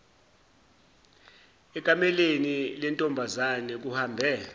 ekameleni lentombazane kuhambe